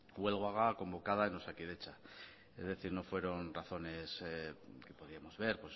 huelga convocada en osakidetza es decir no fueron razones que podíamos ver